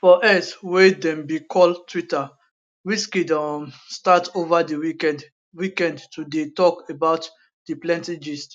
for x wey dem bin call twitter wizkid um start ova di weekend weekend to dey tok about di plenty gist